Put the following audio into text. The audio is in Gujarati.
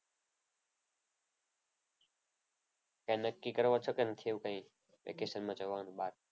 કંઈક નક્કી કરવાનું છે કે નહીં વેકેશનાં જવાનું બહાર?